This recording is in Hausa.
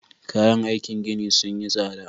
Kayan aikin gini sun yi tsada